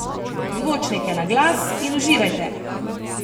Zvočnike na glas in uživajte!